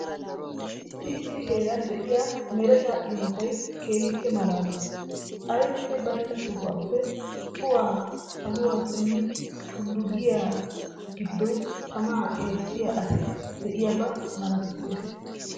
Issi issi heeran de'iya mereta imotay keehippe maalaalees. Aybinne baynna sohuwappe cuway saluwa simmidi tullu giyagee giddon tamaa eettiya asi de'iyaba malatissees.